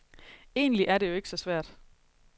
Egentlig er det jo ikke så svært.